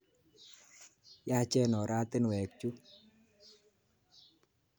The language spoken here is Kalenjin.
Yaachen oratinwek chu.